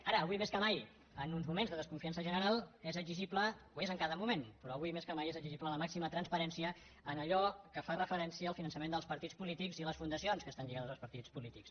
ara avui més que mai en uns moments de desconfiança general és exigible ho és en cada moment però avui més que mai la màxima transparència en allò que fa referència al finançament dels partits polítics i les fundacions que estan lligades als partits polítics